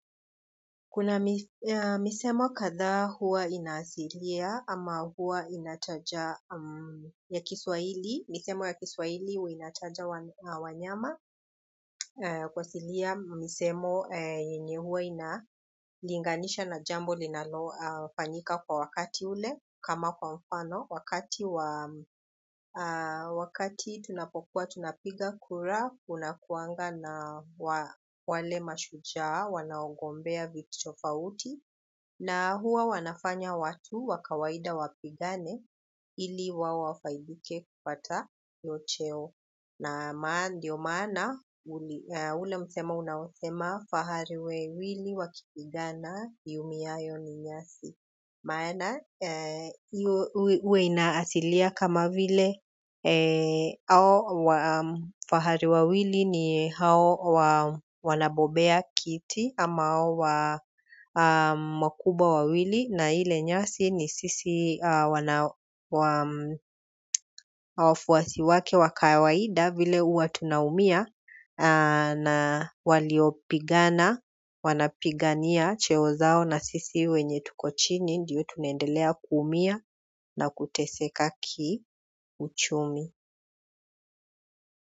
Kuna misemo kadha huwa inasilia ama huwa inachaja ya Kiswahili. Misemo ya Kiswahili huwa inachaja wanyama. Kwa silia misemo yenye huwa ina linganisha na jambo linalofanyika kwa wakati ule kama kwa mfano. Wakati tunapokua tunapiga kura, unakuanga na wale mashujaa wanaongombea viti tofauti na huwa wanafanya watu wa kawaida wapigane, ili wawafaidike kupata hiyo cheo na ndio maana, ule msemo unaosema fahari wawili wakipigana iumiayo ni nyasi maana, uwe inaasilia kama vile hao wafahari wawili ni hao wanabobea kiti ama makubwa wawili na ile nyasi ni sisi wafuasi wake wa kawaida vile huwa tunaumia na waliopigana wanapigania cheo zao na sisi wenye tuko chini. Ndiyo tunaendelea kuumia na kuteseka kiuchumi.